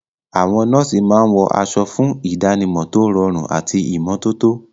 Àwọn nọ́ọ̀sì máa ń wọ aṣọ fún ìdánimọ̀ tó rọrùn àti ìmọ́tótó.